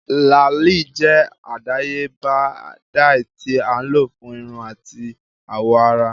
Làáli jẹ adayeba dye ti a lo fun irun ati awọ ara.